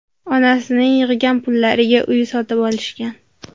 Onasining yig‘gan pullariga uy sotib olishgan.